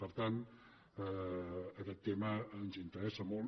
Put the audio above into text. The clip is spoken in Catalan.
per tant aquest tema ens interessa molt